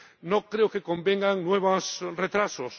No creo que convengan nuevos retrasos.